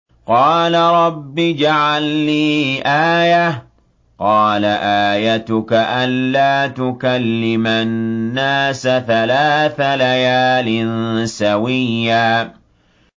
قَالَ رَبِّ اجْعَل لِّي آيَةً ۚ قَالَ آيَتُكَ أَلَّا تُكَلِّمَ النَّاسَ ثَلَاثَ لَيَالٍ سَوِيًّا